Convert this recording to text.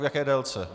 V jaké délce?